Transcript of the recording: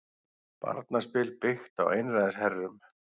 Barnaspil byggt á einræðisherrum